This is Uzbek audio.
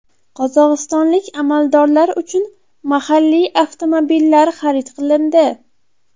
Qozog‘istonlik amaldorlar uchun mahalliy avtomobillar xarid qilindi.